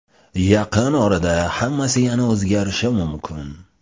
Yaqin orada hammasi yana o‘zgarishi mumkin.